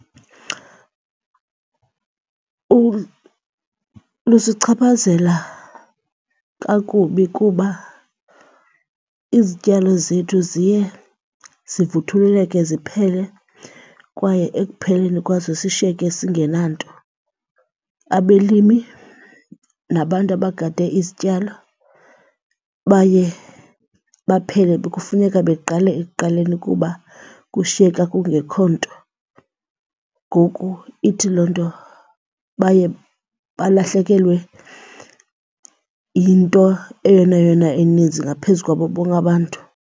Lusichaphazela kakubi kuba izityalo zethu ziye zivuthululeke ziphele kwaye ekupheleni kwazo sishiyeke singenanto. Abelimi nabantu abagade izityalo baye baphele kufuneka beqale ekuqaleni kuba kushiyeka kungekho nto. Ngoku ithi loo nto baye balahlekelwe yinto eyona yona ininzi ngaphezu kwabo bonke abantu.